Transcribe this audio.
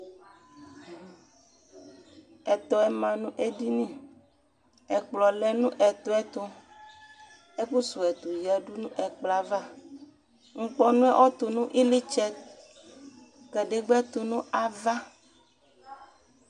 Ɛtɔ yɛ ma nʋ edini, ɛkplɔ lɛ nʋ ɛtɔ yɛ tʋ, ɛkʋ suwu ɛtʋ yǝ nʋ ɛkplɔ ava Nkpɔnu yɛ ɔtʋnʋ iɣlitsɛ, kadegba yɛ tʋnʋ ava